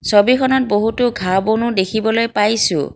ছবিখনত বহুতো ঘাঁহ বনো দেখিবলৈ পাইছোঁ।